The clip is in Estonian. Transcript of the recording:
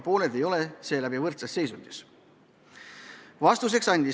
Pooled ei ole seetõttu võrdses seisundis.